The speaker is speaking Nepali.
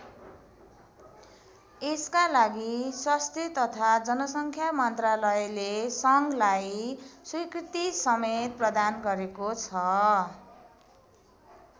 यसका लागि स्वास्थ्य तथा जनसङ्ख्या मन्त्रालयले सङ्घलाई स्वीकृतिसमेत प्रदान गरेको छ।